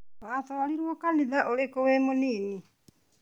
Watwarirwo kanitha ũrĩkũ wĩ mũnini?